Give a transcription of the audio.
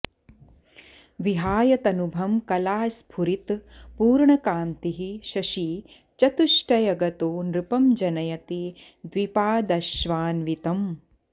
विहाय तनुभं कलास्फुरितपूर्णकान्तिः शशी चतुष्टयगतो नृपं जनयति द्विपाश्वान्वितम्